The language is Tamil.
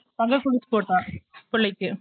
தங்க கொலுசு போட்டா புள்ளைக்கு